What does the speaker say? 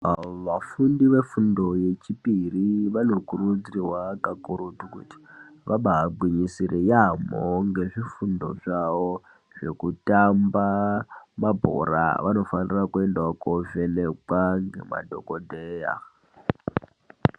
Vafundi vefundo yechipiri vanokurudzirwa kukurutu kuti vabaagwinyisire yaamho ngezvifundo zvawo zvekutamba mabhora. vanofanirawo kuende koovhekwe ngemadhokodheya.